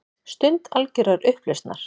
Stund algjörrar upplausnar.